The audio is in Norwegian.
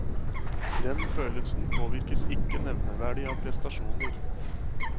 Den følelsen påvirkes ikke nevneverdig av prestasjoner.